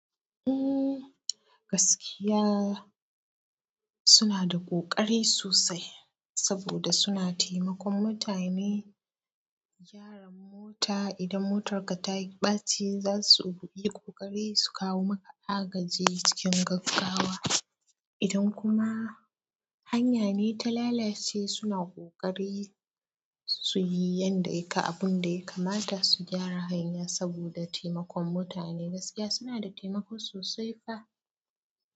Umm, gaskiya suna da ƙoƙari sosai saboda suna taimakon mutane gyara mota. Idan motarka ta yi ɓaci, za su yi ƙoƙari su kawo maka agaji cikin gaggawa. Idan kuma hanya ne ta lalace, suna ƙoƙari su yi abin da ya kamata su gyara hanya saboda taimakon mutane. Gaskiya suna da taimako sosai fa.